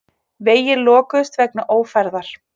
Vegir lokuðust vegna ófærðar